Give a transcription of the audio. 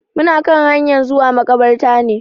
Muna kan hanyan zuwa maƙabarta ne.